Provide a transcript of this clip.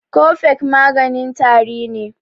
Cofex maganin tari ne.